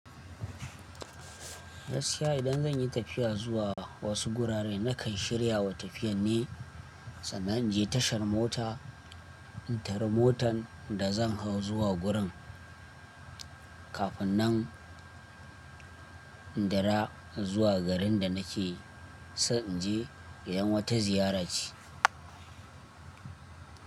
Gaskiya idan zan yi tafiya zuwa wasu guraren, na kan shiryawa tafiyan ne. Sannan inje tashar mota, in tari motan da zan hau zuwa gurin. Kafun nan, in du ra zuwa garin da na ke, san inje idan wata ziyara ce.